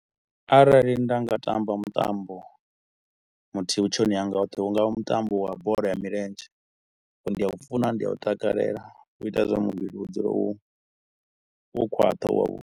Arali nda nga tamba mutambo muthihi vhutshiloni hanga hoṱhe hu nga vha mutambo wa bola ya milenzhe, ngauri ndi a u funa ndi a takalela u ita zwa uri muvhili u dzule u, wo khwaṱha u wavhu.